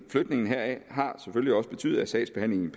har selvfølgelig også betydet at sagsbehandlingen